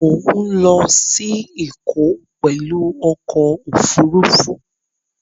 Mọ̀ ń lọ sí Ẹ̀kọ́ pẹ̀lú ọkọ̀ Òfurufú